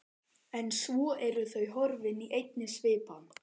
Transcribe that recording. En svo eru þau horfin í einni svipan.